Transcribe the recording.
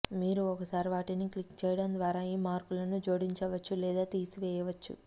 మీరు ఒకసారి వాటిని క్లిక్ చేయడం ద్వారా ఈ మార్కులను జోడించవచ్చు లేదా తీసివేయవచ్చు